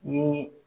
Ni